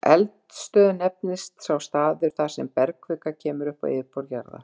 Eldstöð nefnist sá staður, þar sem bergkvika kemur upp á yfirborð jarðar.